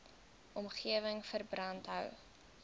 omgewing verband hou